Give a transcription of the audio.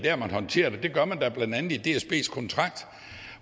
at håndtere det det er blandt andet i dsbs kontrakt